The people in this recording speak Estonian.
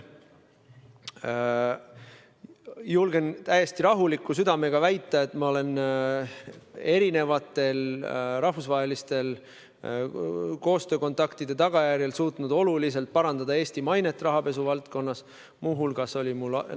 Julgen täiesti rahuliku südamega väita, et ma olen erinevate rahvusvaheliste koostöökontaktide kaudu suutnud Eesti mainet rahapesuvaldkonnas oluliselt parandada.